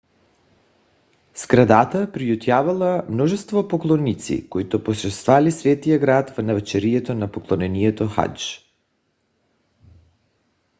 сградата приютявала множество поклонници които посещавали светия град в навечерието на поклонението хадж